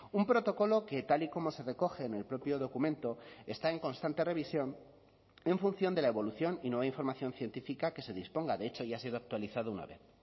un protocolo que tal y como se recoge en el propio documento está en constante revisión en función de la evolución y nueva información científica que se disponga de hecho ya ha sido actualizado una vez